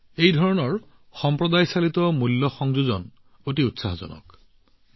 এই ধৰণৰ সমূদায় চালিত মূল্য সংযোজন অতি উত্তেজনাপূৰ্ণ